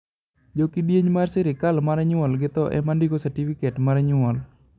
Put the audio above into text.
jo kidieny mar serkal mar nyuol gi tho ema ndiko satifiket may nyuol